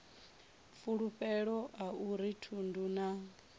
fulufhelo a uri thundu na